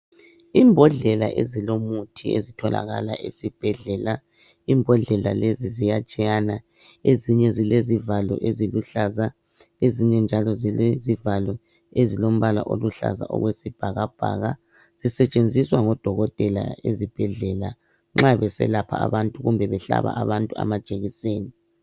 Imbodlela ezilomuthi ezitholakala ezibhedlela. Imbodlela lezi ziyatshiyana. Ezinye zilezivalo eziluhlaza ezinye njalo zilezivalo ezilombala oluhlaza okwesibhakabhaka. Zisetshenziswa ngodokotela ezubhedlela nxa beselapha abantu kumbe behlaba abantu abamajekiseni.